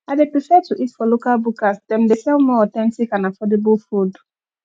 i dey prefer to eat for local bukas dem dey sell more authentic and affordable food